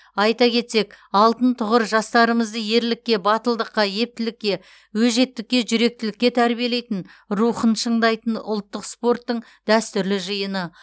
айта кетсек алтын тұғыр жастарымызды ерлікке батылдыққа ептілікке өжеттікке жүректілікке тәрбиелейтін рухын шыңдайтын ұлттық спорттың дәстүрлі жиыны